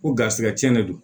Ko garisigɛ cɛn de don